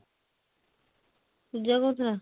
ପୂଜା କହୁଥିଲା